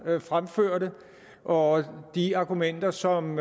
fremførte og de argumenter som